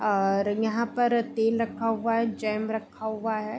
और यहां पर तेल रखा हुआ है जैम रखा हुआ है।